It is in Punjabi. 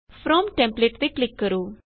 ਫਰੋਮ ਟੈਂਪਲੇਟ ਤੇ ਕਲਿਕ ਕਰੋ